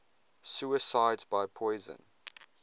suicides by poison